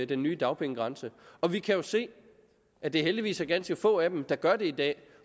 den nye dagpengegrænse og vi kan jo se at det heldigvis er ganske få af dem der gør det i dag